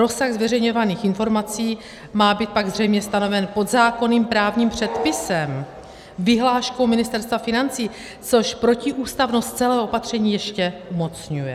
Rozsah zveřejňovaných informací má být pak zřejmě stanoven podzákonným právním předpisem, vyhláškou Ministerstva financí, což protiústavnost celého opatření ještě umocňuje.